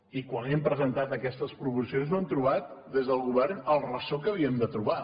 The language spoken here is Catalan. i quan hem presentat aquestes proposicions no hem trobat des del govern el ressò que havíem de trobar